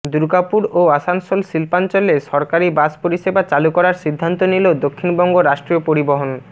দুর্গাপুর ও আসানসোল শিল্পাঞ্চলে সরকারি বাস পরিষেবা চালু করার সিদ্ধান্ত নিল দক্ষিণবঙ্গ রাষ্ট্রীয় পরিবহণ